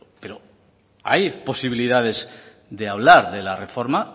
pero hay posibilidades de hablar de la reforma